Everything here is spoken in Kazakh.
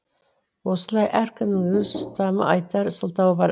осылай әркімнің өз ұстанымы айтар сылтауы бар